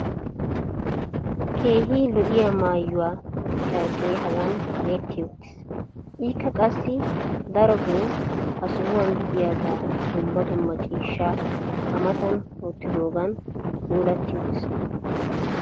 keehi lo'iya maayuwa carqee hagan kaqetti uttiis. ikka qassi daroto ha sohuqa diyagee dumma dumma ciishshaa a matan wottidoogan puulatti uttiis.